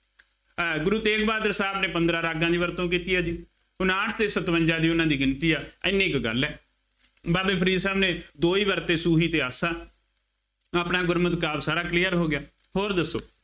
ਅਹ ਗੁਰੂ ਤੇਗ ਬਹਾਦਰ ਸਾਹਿਬ ਨੇ ਪੰਦਰਾਂ ਰਾਗਾਂ ਦੀ ਵਰਤੋ ਕੀਤੀ ਹੈ ਜੀ, ਉਨਾਹਠ, ਛੇ, ਸਤਵੰਜ਼ਾ ਦੀ ਉਹਨਾ ਦੀ ਗਿਣਤੀ ਹੈ, ਐਨੀ ਕੁ ਗੱਲ ਹੈ, ਬਾਬਾ ਫਰੀਦ ਸਾਹਿਬ ਨੇ ਦੋ ਹੀ ਵਰਤੇ, ਸੂਹੀ ਅਤੇ ਆਸਾ, ਆਪਣਾ ਗੁਰਮਤਿ ਕਾਵਿ ਸਾਰਾ clear ਹੋ ਗਿਆ, ਹੋਰ ਦੱਸੋ,